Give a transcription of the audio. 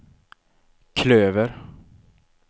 klöver